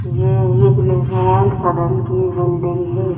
ये एक निर्माण सदन की बिल्डिंग है।